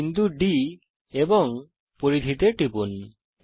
বিন্দু D এবং পরিধিতে টিপুন